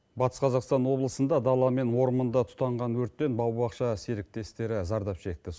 батыс қазақстан облысында дала мен орманда тұтанған өрттен бау бақша серіктестері зардап шекті